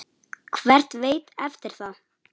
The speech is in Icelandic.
Hver veit eftir það?